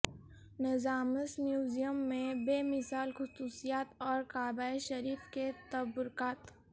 نظامس museum میں بے مثال خصوصیات اور کعبہ شریف کے تبرکات